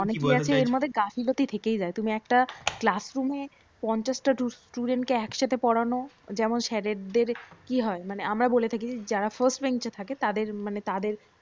ওনেকে আছে এর মধ্যে গাফিলতি থেকেই যায় তুমি একটা class room এ পঞ্চাশটা student কে একসাথে পড়ানো যেমন স্যারেদের কি হয় মানে আমরা বলতে থাকি যারা first bench এ থাকে তাদের মানে তাদের